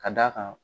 Ka d'a kan